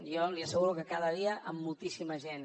jo li asseguro que cada dia amb moltíssima gent